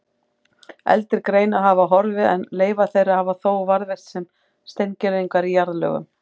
Eldri greinar hafa horfið en leifar þeirra hafa þó varðveist sem steingervingar í jarðlögum.